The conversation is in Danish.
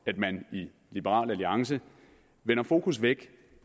at man i liberal alliance vender fokus væk